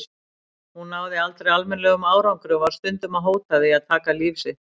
Hún náði aldrei almennilegum árangri og var stundum að hóta því að taka líf sitt.